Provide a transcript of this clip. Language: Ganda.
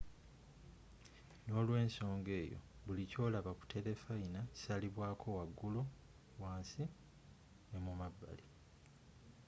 n'olwensoga eyo buli kyolaba ku telefayina kisalibwako wagulu wansi n'emumabbali